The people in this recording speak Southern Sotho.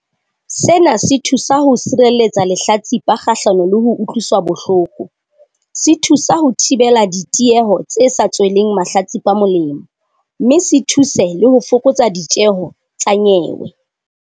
Sena se thusa ho sireletsa lehlatsipa kgahlano le ho utlwiswa bohloko, se thusa ho thibela ditieho tse sa tsweleng mahlatsipa molemo, mme se thuse le ho fokotsa ditjeho tsa nyewe.